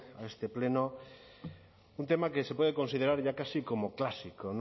a este pleno un tema que se puede considerar ya casi como clásico